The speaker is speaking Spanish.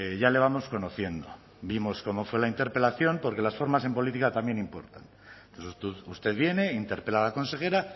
ya le vamos conociendo vimos cómo fue la interpelación porque las formas en política también importan usted viene interpela a la consejera